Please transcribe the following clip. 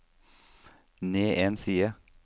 ned en side